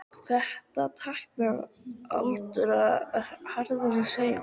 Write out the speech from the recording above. Þetta táknar aldauða frá harðræði heimsins.